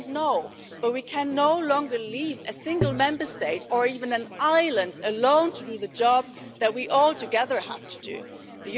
We don't know, but we can no longer leave a single Member State, or even an island, alone to do the job that we have to do all together.